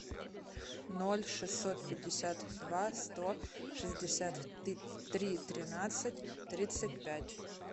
ноль шестьсот пятьдесят два сто шестьдесят три тринадцать тридцать пять